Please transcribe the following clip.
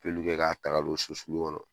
kɛ ka ta ka don so sulu kɔnɔ